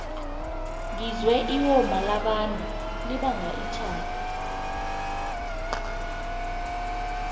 ngizwe iwoma labantu libanga itjhada